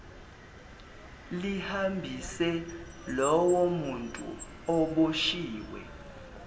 lihambise lowomuntu oboshwiwe